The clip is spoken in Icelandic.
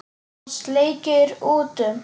Hann sleikir út um.